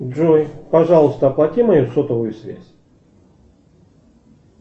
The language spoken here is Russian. джой пожалуйста оплати мою сотовую связь